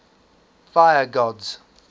fire gods